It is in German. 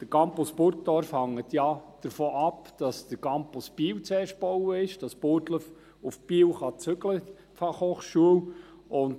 Der Campus Burgdorf hängt ja davon ab, dass zuerst der Campus Biel gebaut wird und die Fachhochschule von Burgdorf nach Biel zügeln kann.